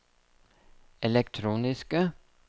elektroniske